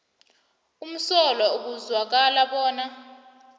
umsolwa ekuzwakala bona